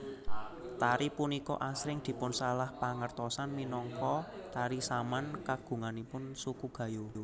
Tari punika asring dipunsalahpangertosan minangka tari Saman kagunganipun suku Gayo